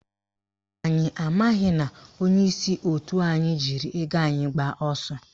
Anyị amaghị na onyeisi òtù anyị jiri ego anyị gbaa ọsọ